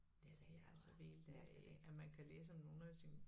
Men det altså vildt at øh at man kan læse om nogle af sine